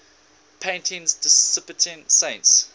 paintings depicting saints